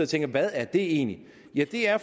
tænker hvad er det egentlig ja det er